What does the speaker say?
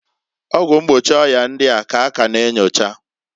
Ọgwụ mgbochi ọya ndia ka a ka na enyocha.